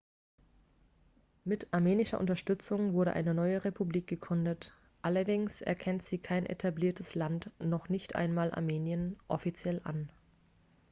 mit armenischer unterstützung wurde eine neue republik gegründet allerdings erkennt sie kein etabliertes land noch nicht einmal armenien offiziell an